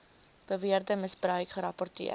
beweerde misbruik gerapporteer